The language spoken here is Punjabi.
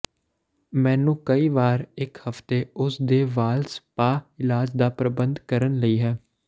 ਮੈਨੂੰ ਕਈ ਵਾਰ ਇੱਕ ਹਫ਼ਤੇ ਉਸ ਦੇ ਵਾਲ ਸਪਾ ਇਲਾਜ ਦਾ ਪ੍ਰਬੰਧ ਕਰਨ ਲਈ ਹੈ